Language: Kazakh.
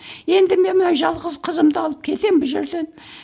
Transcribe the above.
енді мен мына жалғыз қызымды алып кетемін бұл жерден